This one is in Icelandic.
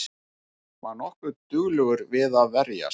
Var nokkuð duglegur við að verjast